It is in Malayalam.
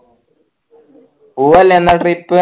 പൂവല്ലെന്ന trip